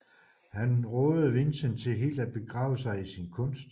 Han rådede Vincent til helt at begrave sig i sin kunst